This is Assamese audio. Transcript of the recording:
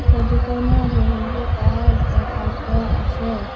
ফটো খনত বহুতো কাৰ্ড ৰখাই থোৱা আছে।